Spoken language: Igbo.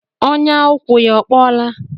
Ọnyà ụkwụ ya ọ kpọọla?